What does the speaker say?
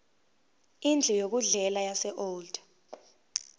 indlu yokudlela yaseold